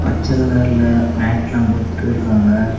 செலதற்ல மேட்லாம் போட்டு இருக்காங்க.